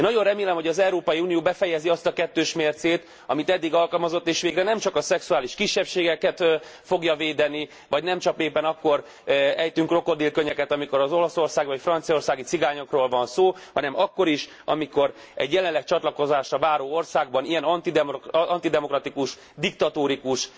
Én nagyon remélem, hogy az Európai Unió befejezi azt a kettős mércét, amit eddig alkalmazott és végre nem csak a szexuális kisebbségeket fogja védeni, vagy nem csak éppen akkor ejtünk krokodilkönnyeket, amikor az olaszországi vagy franciaországi cigányokról van szó, hanem akkor is, amikor egy jelenleg csatlakozásra váró országban ilyen antidemokratikus, diktatórikus,